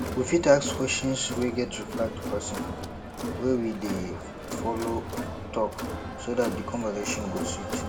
we fit ask questions wey get reply to person wey we dey follow talk so dat di conversation go sweet